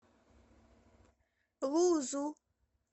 лузу